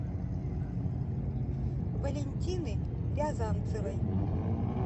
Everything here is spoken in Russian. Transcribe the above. валентины рязанцевой